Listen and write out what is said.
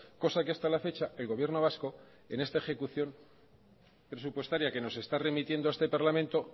cosa que hasta la fecha el gobierno vasco en esta ejecución presupuestaria que nos está remitiendo a este parlamento